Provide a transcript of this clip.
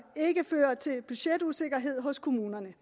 ikke fører til budgetusikkerhed hos kommunerne